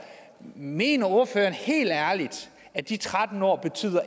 mener ordføreren helt ærligt at de tretten år